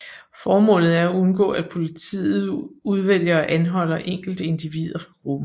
Formålet er at undgå at politiet udvælger og anholder enkelte individer fra gruppen